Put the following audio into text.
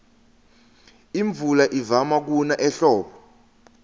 imvula ivama kuna ehlobo